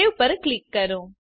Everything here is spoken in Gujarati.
સવે પર ક્લિક કરો